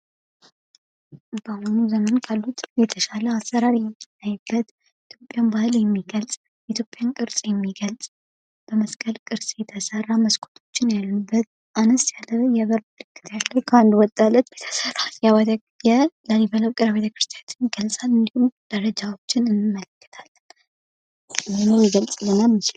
በአሁኑ ሰዓት በኢትዮጵያ የተሻለ አሰራር ያለው የኢትዮጵያን ባህል የሚገልፅ በመስቀል ቅርፅ የተሰራ፣ አነስ ያለ የበር ምልክት ያለው የላሊበላ ውቅር አብያተ ክርስቲያን እናያለን ።በጣም ውበት ያለው ነው ።